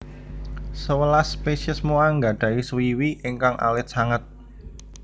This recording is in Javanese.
Sewelas spésiés Moa nggadhahi swiwi ingkang alit sanget